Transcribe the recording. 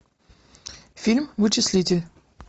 фильм вычислитель